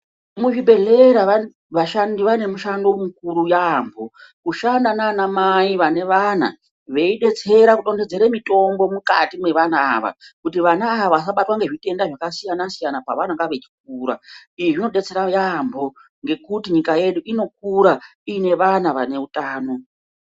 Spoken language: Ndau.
Mu zvibhehlera vashandi vane mushando mukuru yambo kushanda nana mai vane vana vei detsera ku dondodzere mutombo mukati mwe vana ava kuti vana ava vasa batwa nge zvitenda zvaka siyana siyana pavanenge vechikura izvi zvino detsera yambo ngekuti nyika yedu inokura ine vana vane utano.